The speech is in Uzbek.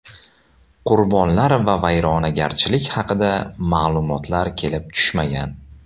Qurbonlar va vayronagarchiliklar haqida ma’lumotlar kelib tushmagan.